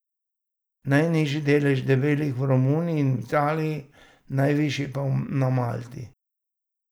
Najnižji delež debelih je v Romuniji in v Italiji, najvišji pa na Malti.